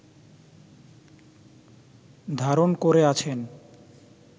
ধারণ করে আছেন